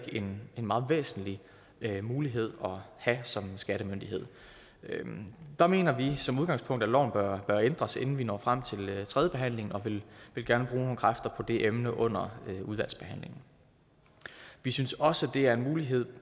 en meget væsentlig mulighed at have som skattemyndighed der mener vi som udgangspunkt at loven bør ændres inden vi når frem til tredjebehandlingen og vi vil gerne bruge nogle kræfter på det emne under udvalgsbehandlingen vi synes også det er en mulighed